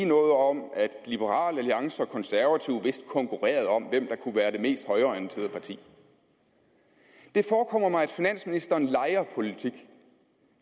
noget om at liberal alliance og de konservative vist konkurrerede om hvem der kunne være det mest højreorienterede parti det forekommer mig at finansministeren leger politik